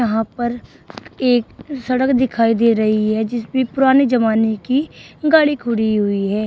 वहां पर एक सड़क दिखाई दे रही है जिसपे पुराने जमाने की गाड़ी खड़ी हुई है।